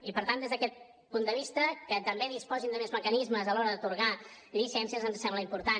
i per tant des d’aquest punt de vista que també disposin de més mecanismes a l’hora d’atorgar llicències ens sembla important